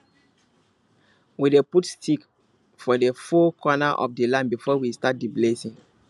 we dey put stick for the four corner of the land before we start the blessing